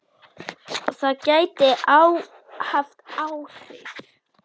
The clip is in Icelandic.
Það gæti haft áhrif.